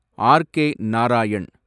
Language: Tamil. ஆர்.கே. நாராயண்